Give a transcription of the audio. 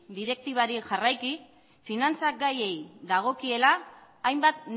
direktibari jarraiki finantza gaiei dagokiela hainbat